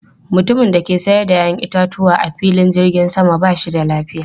Mutumin da ke sayar da 'ya'yan itatuwa a filin jirgin sama ba shi da lafiya.